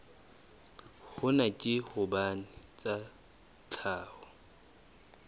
hona ke hobane tsa tlhaho